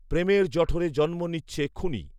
প্রেমের জঠরে জন্ম নিচ্ছে খুনি